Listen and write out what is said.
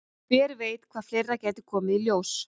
Hver veit hvað fleira gæti komið í ljós?